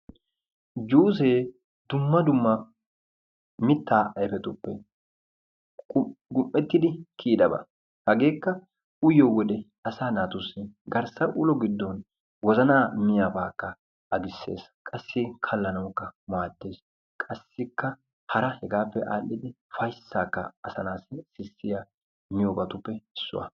Juusee dumma dumma mittaa ayfetuppe gum"ettidi kiyidaba. Hageekka uyiyo wode asaa naatussi garssa ulo giddo wozanaa miyabaakka agissees, kalissees. Qassi hegaappe aadhdhidi ufayssaakka asaa naatussi gujjees.